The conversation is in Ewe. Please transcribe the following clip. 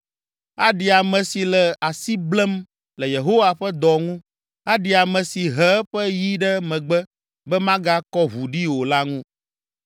“Aɖi ame si le asi blem le Yehowa ƒe dɔ ŋu! Aɖi ame si he eƒe yi ɖe megbe be magakɔ ʋu ɖi o la ŋu!